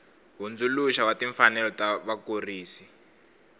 hundzuluxa wa timfanelo ta vakurisi